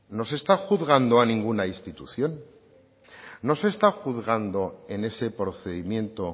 no se está juzgando a ninguna institución no se está juzgando en ese procedimiento